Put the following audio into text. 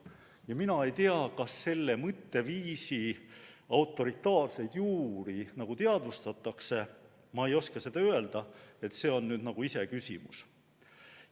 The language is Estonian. Ja mina ei tea, kas selle mõtteviisi autoritaarseid juuri teadvustatakse, ma ei oska seda öelda, see on nagu iseküsimus.